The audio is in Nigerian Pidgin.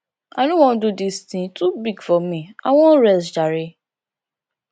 i no wan do dis thing e too big for me i wan rest jare